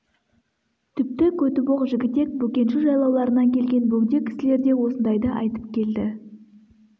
тіпті көтібақ жігітек бөкенші жайлауларынан келген бөгде кісілер де осындайды айтып келді